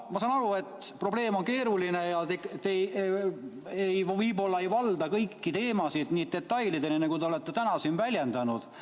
Ma saan aru, et probleem on keeruline ja te võib-olla ei valda kõiki teemasid nii detailselt, nagu olete täna siin väljendanud.